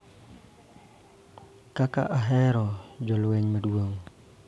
Kaka ahero jolweny madongo,